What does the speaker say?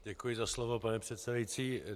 Děkuji za slovo, pane předsedající.